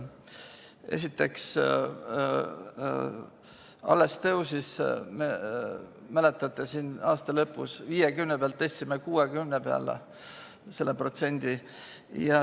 Esiteks, alles aasta lõpus tõstsime selle protsendi 50 pealt 60 peale.